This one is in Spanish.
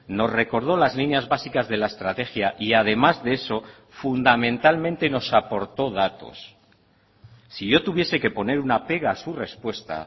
nos recordó las líneas básicas de la estrategia y además de eso fundamentalmente nos aportó datos si yo tuviese que poner una pega a su respuesta